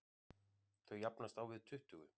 Þau jafnast á við tuttugu.